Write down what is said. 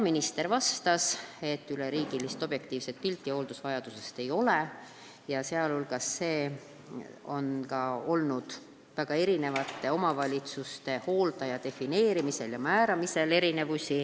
Minister vastas, et üleriigilist objektiivset pilti hooldusvajadusest ei ole, sh on olnud omavalitsustes erinevusi hooldaja defineerimisel.